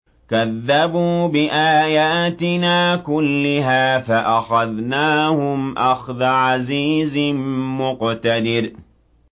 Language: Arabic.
كَذَّبُوا بِآيَاتِنَا كُلِّهَا فَأَخَذْنَاهُمْ أَخْذَ عَزِيزٍ مُّقْتَدِرٍ